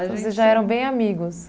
Então vocês já eram bem amigos?